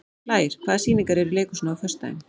Blær, hvaða sýningar eru í leikhúsinu á föstudaginn?